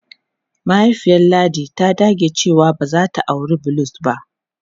Mahaifiyar Ladi ta dage cewa ba za ta auri Bulus ba.